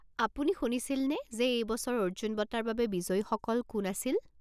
আপুনি শুনিছিলনে যে এই বছৰ অৰ্জুন বঁটাৰ বাবে বিজয়ীসকল কোন আছিল?